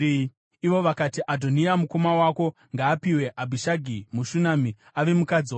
Ivo vakati, “Adhoniya mukoma wako, ngaapiwe Abhishagi muShunami, ave mukadzi wake.”